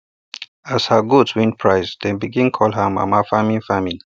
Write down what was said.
as her goats win prize dem begin call her mama farming farming